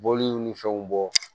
Bɔliw ni fɛnw bɔ